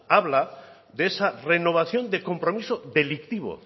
habla de esa renovación de compromiso delictivo